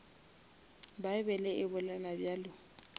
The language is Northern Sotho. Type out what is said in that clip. bible e bolela bjalo